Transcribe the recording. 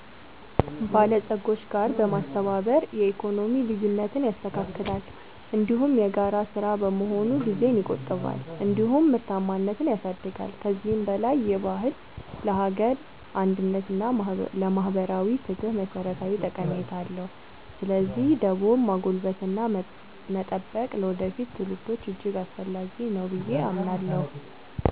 በለጾች ጋር በማስተባበር የኢኮኖሚ ልዩነትን ያስተካክላል፤ እንዲሁም የጋራ ሥራ በመሆኑ ጊዜን ይቆጥባል እንዲሁም ምርታማነትን ያሳድጋል። ከዚህም በላይ ይህ ባህል ለሀገር አንድነት እና ለማህበራዊ ፍትህ መሠረታዊ ጠቀሜታ አለው። ስለዚህ ደቦን ማጎልበትና መጠበቅ ለወደፊት ትውልዶች እጅግ አስፈላጊ ነው ብዬ አምናለሁ።